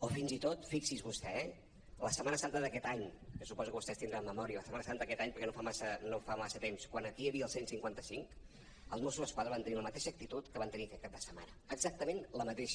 o fins i tot fixi’s vostè eh la setmana santa d’aquest any que suposo que vostès deuen tenir memòria la setmana santa d’aquest any perquè no fa massa temps quan aquí hi havia el cent i cinquanta cinc els mossos d’esquadra van tenir la mateixa acti·tud que van tenir aquest cap de setmana exactament la mateixa